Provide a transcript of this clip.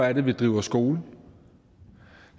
er vi driver skole